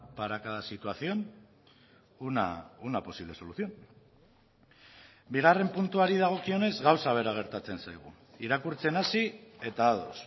para cada situación una posible solución bigarren puntuari dagokionez gauza bera gertatzen zaigu irakurtzen hasi eta ados